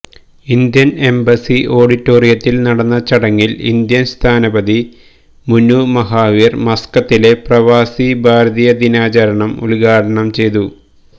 Indian embassy ഓഡിറ്റോറിയത്തിൽ നടന്ന ചടങ്ങിൽ ഇന്ത്യൻ സ്ഥാനപതി മുനു മഹാവീർ മസ്കത്തിലെ പ്രവാസി ഭാരതീയ ദിനാചരണം ഉദ്ഘാടനം ചെയ്തു